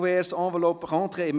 Diverse erhielten 1 Stimme.